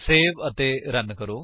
save ਅਤੇ run ਕਰੋ